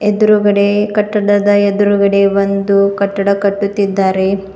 ಎದುರುಗಡೆ ಕಟ್ಟಡದ ಎದುರುಗಡೆ ಒಂದು ಕಟ್ಟಡ ಕಟ್ಟುತ್ತಿದ್ದಾರೆ.